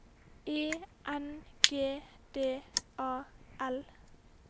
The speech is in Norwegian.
E N G D A L